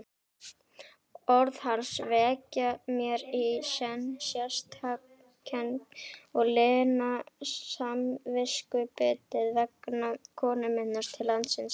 Orð hans vekja mér í senn sektarkennd og lina samviskubitið vegna komu minnar til landsins.